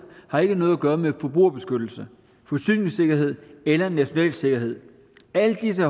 har ikke noget at gøre med forbrugerbeskyttelse forsyningssikkerhed eller national sikkerhed alle disse